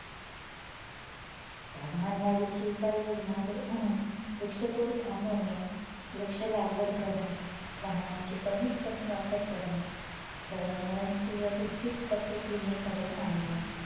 तापमानवाढीची उपायोजना म्हणून वृक्षतोड थांबविणे, वृक्ष लागवड करणे, वाहनांची कमीत कमी वापर करणे, दळणवळण सुव्यवस्थित पद्धतीने घडवून आणणे